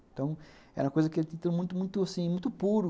Então, era uma coisa que ele tinha que ter muito muito muito muito, assim, muito puro.